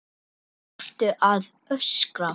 ÞARFTU AÐ ÖSKRA